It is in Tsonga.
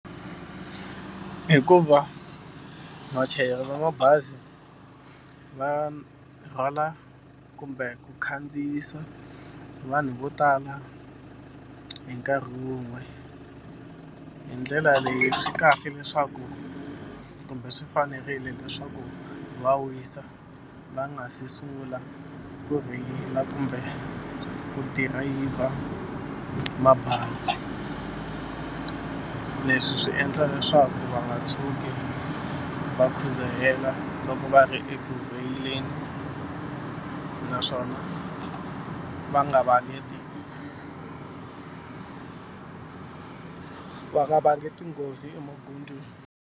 Hikuva vachayeri va mabazi va rhwala kumbe ku khandziyisa vanhu vo tala hi nkarhi wun'we hi ndlela leyi swi kahle leswaku kumbe swi fanerile leswaku va wisa va nga se sungula ku rheyila kumbe ku dirayivha mabazi. Leswi swi endla leswaku va nga tshuki va khudzahela loko va ri eku rheyileni naswona va nga vangeli va nga vangi tinghozi emagondzweni.